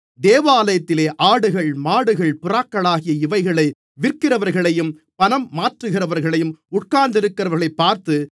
தேவாலயத்திலே ஆடுகள் மாடுகள் புறாக்களாகிய இவைகளை விற்கிறவர்களையும் பணம் மாற்றுகிறவர்கள் உட்கார்ந்திருக்கிறதையும் பார்த்து